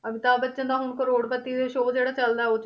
ਅਮਿਤਾਬ ਬੱਚਨ ਦਾ ਹੁਣ ਕਰੌੜ ਪਤੀ ਤੇ ਜਿਹੜਾ show ਜਿਹੜਾ ਚੱਲਦਾ ਉਹ 'ਚ